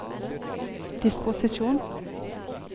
disposisjon